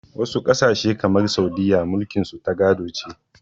Wasu ƙasashe kamar Saudiyya mulkin su ta gado ce.